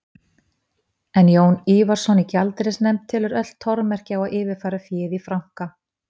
En Jón Ívarsson í gjaldeyrisnefnd telur öll tormerki á að yfirfæra féð í franka.